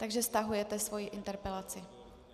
Takže stahujete svoji interpelaci?